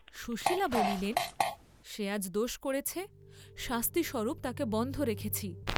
সুশীলা বলিলেন, সে আজ দোষ করেছে, শাস্তি স্বরূপ তাকে বন্ধ রেখেছি।